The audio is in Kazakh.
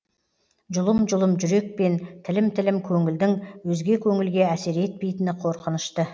жұлым жұлым жүрек пен тілім тілім көңілдің өзге көңілге әсер етпейтіні қорқынышты